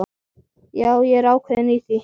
Já, ég er ákveðinn í því.